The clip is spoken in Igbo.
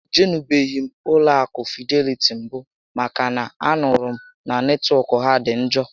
E jenubeghị m ụlọ akụ Fideliti mbụ maka na a nụrụ m na netwọk ha dị njọ